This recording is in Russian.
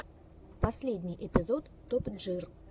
последний эпизод топ джир